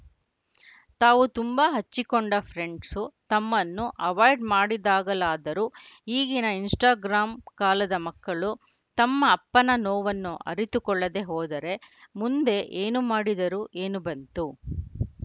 ತಾವು ತುಂಬಾ ಹಚ್ಚಿಕೊಂಡ ಫ್ರೆಂಡ್ಸು ತಮ್ಮನ್ನು ಅವಾಯ್ಡ್‌ ಮಾಡಿದಾಗಲಾದರೂ ಈಗಿನ ಇನ್‌ಸ್ಟಾಗ್ರಾಮ್‌ ಕಾಲದ ಮಕ್ಕಳು ತಮ್ಮ ಅಪ್ಪನ ನೋವನ್ನು ಅರಿತುಕೊಳ್ಳದೇ ಹೋದರೆ ಮುಂದೆ ಏನು ಮಾಡಿದರೆ ಏನು ಬಂತು